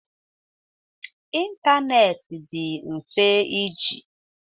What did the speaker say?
Ịntanetị dị mfe iji.